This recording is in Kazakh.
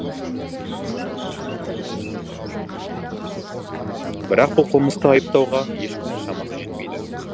бірақ бұл қылмысты айыптауға ешкімнің шамасы жетпейді